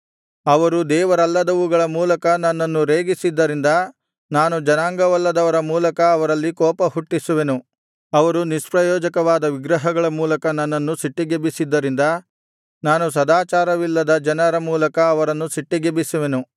ಅವರು ದೇವರಲ್ಲದವುಗಳ ಮೂಲಕ ನನ್ನನ್ನು ರೇಗಿಸಿದ್ದರಿಂದ ನಾನು ಜನಾಂಗವಲ್ಲದವರ ಮೂಲಕ ಅವರಲ್ಲಿ ಕೋಪಹುಟ್ಟಿಸುವೆನು ಅವರು ನಿಷ್ಪ್ರಯೋಜಕವಾದ ವಿಗ್ರಹಗಳ ಮೂಲಕ ನನ್ನನ್ನು ಸಿಟ್ಟಿಗೆಬ್ಬಿಸಿದ್ದರಿಂದ ನಾನು ಸದಾಚಾರವಿಲ್ಲದ ಜನರ ಮೂಲಕ ಅವರನ್ನು ಸಿಟ್ಟಿಗೆಬ್ಬಿಸುವೆನು